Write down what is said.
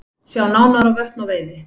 Sjá nánar á Vötn og veiði